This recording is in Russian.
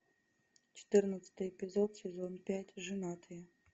четырнадцатый эпизод сезон пять женатые